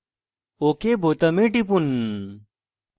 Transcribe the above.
ok বোতামে টিপুন